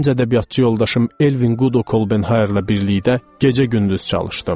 Gənc ədəbiyyatçı yoldaşım Elvin Gudo Kolbenheyerlə birlikdə gecə-gündüz çalışdım.